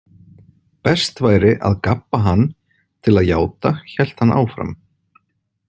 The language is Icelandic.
Best væri að gabba hann til að játa, hélt hann áfram.